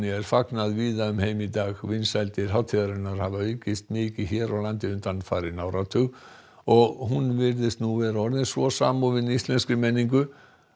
er fagnað víða um heim í dag vinsældir hátíðarinnar hafa aukist mikið hér á landi undanfarinn áratug og hún virðist nú vera orðin svo samofin íslenskri menningu